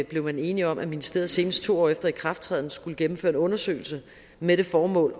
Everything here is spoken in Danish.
blev man enige om at ministeriet senest to år efter ikrafttræden skulle gennemføre en undersøgelse med det formål